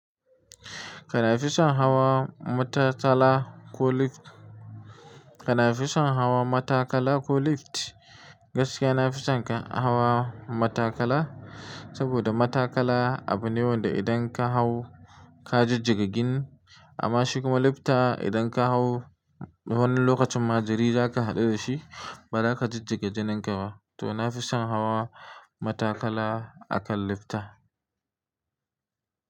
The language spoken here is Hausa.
Kana fison hawa matakala ko lift? Kana fison hawa matakala ko lift? Gaskiya na fi son hawa matakala, saboda matakala abu ne wanda idan ka hau ka jijjigi jini, amma shi kuma lifta idan ka hau wani lokacin ma jiri za ka haɗu da shi ba za ka jijjigi jinin ka ba. To na fi son hawa matakala akan lifta.